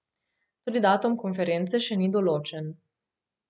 Tudi datum konference še ni določen.